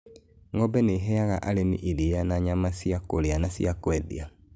Ng'ombe nĩ iheaga arĩmi iria na nyama cia kũrĩa na cia kwendia.